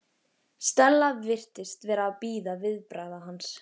Stella virtist vera að bíða viðbragða hans.